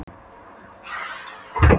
Sveitin var nýtt land, heimsálfa, veröld.